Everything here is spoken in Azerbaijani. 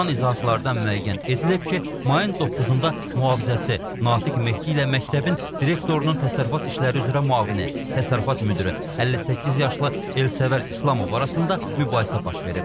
Alınan izahatlardan müəyyən edilib ki, mayın 9-da mühafizəçi Natiq Mehdi ilə məktəbin direktorunun təsərrüfat işləri üzrə müavini, təsərrüfat müdiri, 58 yaşlı Elsəvər İslamov arasında mübahisə baş verib.